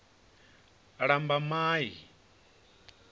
lambamai